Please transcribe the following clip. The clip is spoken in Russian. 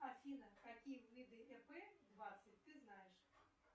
афина какие виды ип двадцать ты знаешь